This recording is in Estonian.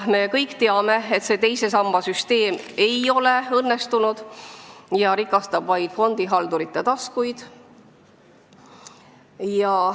Me kõik teame, et teise samba süsteem ei ole õnnestunud ja rikastab vaid fondihaldureid.